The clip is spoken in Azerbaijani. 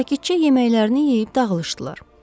Sakitcə yeməklərini yeyib dağılışdılar.